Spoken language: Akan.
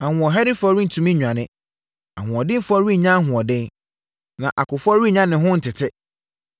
Ahoɔherɛfoɔ rentumi nnwane. Ahoɔdenfoɔ rennya ahoɔden, na akofoɔ rennya ne ho ntete.